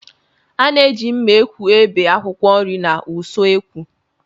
A na-eji mma ekwu ebi akwụkwọ nri n'ụsọekwu